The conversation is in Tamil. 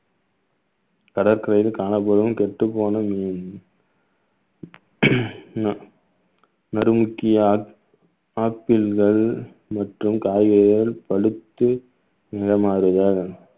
கடற்கரையில் காணப்படும் கெட்டுப்போன மீன் ந~ நறுமுக்கியா ஆப்பிள்கள் மற்றும் காய்கறிகள் பழுத்து நிறம் மாறுதல்